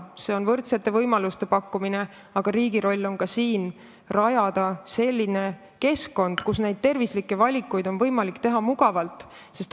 See tähendab võrdsete võimaluste pakkumist, aga riigi roll on ka rajada selline keskkond, kus neid tervislikke valikuid on võimalik mugavalt teha.